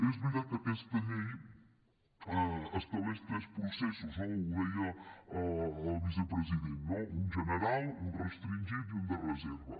és veritat que aquesta llei estableix tres processos no ho deia el vicepresident un de general un de restringit i un de reserva